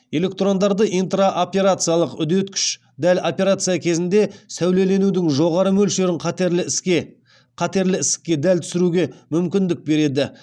электрондарды интраоперациялық үдеткіш дәл операция кезінде сәулеленудің жоғары мөлшерін қатерлі ісікке дәл түсіруге мүмкіндік береді